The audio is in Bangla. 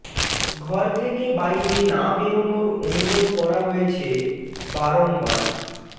ঘর থেকে বাইরে না বেরনোর অনুরোধ করা হয়েছে বারংবার